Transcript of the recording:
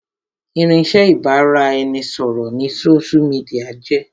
Irinsẹ́ ibà ra ẹni ṣọ̀rọ̀ ni sósú midià jẹ́